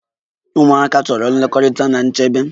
Ụmụaka chọrọ nlekọta na nchebe.